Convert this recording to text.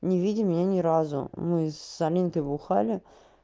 не видя меня ни разу мы с аминкой бухали